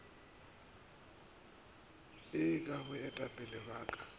ee ke baetapele ba ka